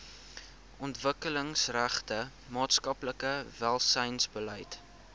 ontwikkelingsgerigte maatskaplike welsynsbeleid